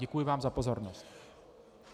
Děkuji vám za pozornost.